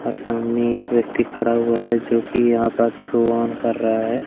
और सामने एक व्यक्ति खड़ा हुआ है जो कि यहां पर शो ऑन कर रहा है।